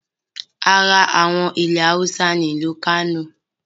Ara àwọn ilẹ̀ Awúsá ni ìlú Kánò